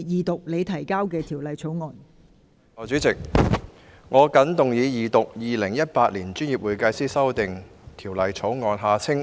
代理主席，我謹動議二讀《2018年專業會計師條例草案》。